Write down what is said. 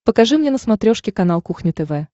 покажи мне на смотрешке канал кухня тв